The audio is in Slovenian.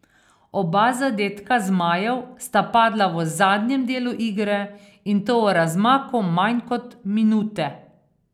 Oba zadetka zmajev sta padla v zadnjem delu igre in to v razmaku manj kot minute.